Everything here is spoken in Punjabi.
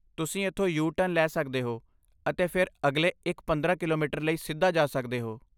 ਤੁਸੀਂ ਇੱਥੋਂ ਯੂ ਟਰਨ ਲੈ ਸਕਦੇ ਹੋ ਅਤੇ ਫਿਰ ਅਗਲੇ ਇਕ ਪੰਦਰਾਂ ਕਿਲੋਮੀਟਰ ਲਈ ਸਿੱਧਾ ਜਾ ਸਕਦੇ ਹੋ